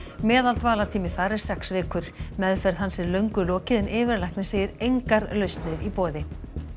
meðaldvalartími þar er sex vikur meðferð hans er löngu lokið en yfirlæknir segir engar lausnir í boði